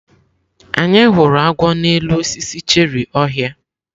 Anyị hụrụ agwọ n'elu osisi cherị ọhịa.